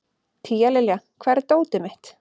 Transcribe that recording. Tíalilja, hvar er dótið mitt?